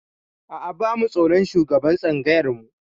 A'a, ba mu tsoron shugaban tsangayar mu.